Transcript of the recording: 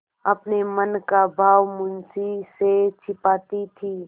अपने मन का भाव मुंशी से छिपाती थी